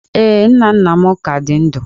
Ee, nna nna m ka dị ndụ